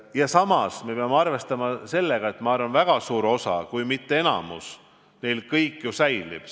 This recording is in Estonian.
Ja samas me peame arvestama sellega, et väga suurel osal, kui mitte enamikul, kõik ju säilib.